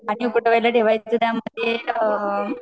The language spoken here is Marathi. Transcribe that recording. आणि उकड़वयाला ठेवायच आणि त्या मध्ये